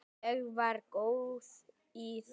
Ég var góð í því.